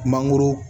Mangoro